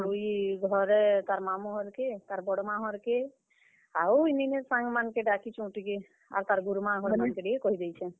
ଆଉ ଇ ଘରେ ତାର୍ ମାମୁଁ ଘର୍ କେ। ତାର୍ ବଡ ମାଁ ଘର୍ କେ। ଆଉ ଇ ନିନିର୍ ସାଙ୍ଗ ମାନ୍ ଙ୍କେ ଡାକିଛୁଁ ଟିକେ, ଆଉ ତାର୍ ଗୁରୁମା ଘର୍ ମାନଙ୍କେ ଟିକେ କହି ଦେଇଛେଁ।